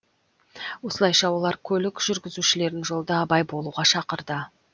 осылайша олар көлік жүргізушілерін жолда абай болуға шақырды